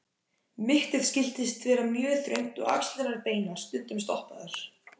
Mittið skyldi vera mjög þröngt og axlirnar beinar, stundum stoppaðar.